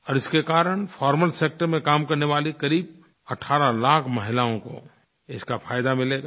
और इसके कारण फॉर्मल सेक्टर में काम करने वाली क़रीब 18 लाख महिलाओं को इसका फ़ायदा मिलेगा